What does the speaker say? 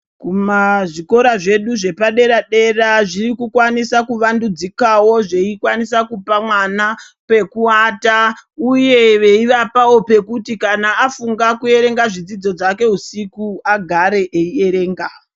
Kumazvikora zvedu zvepadera dera zvirikukwanisa kuvandudzikawo zveikwanisa kupa mwana pekuata uye veivapawo pekuti kana afunga kuita zvidzidzo zvake usiku agare eierenga.